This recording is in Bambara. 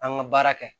An ka baara kɛ